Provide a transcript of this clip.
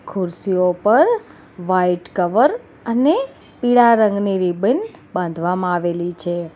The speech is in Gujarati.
ખુરશી ઉપર વાઈટ કવર અને પીળા રંગની રિબન બાંધવામાં આવેલી છે.